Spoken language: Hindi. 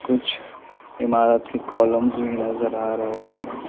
कुछ इमारत के कॉलम्ज़ भी नज़र आ रहे है।